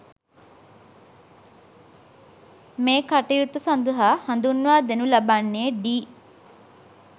මේ කටයුත්ත සඳහා හඳුන්වා දෙනු ලබන්නේ ඩී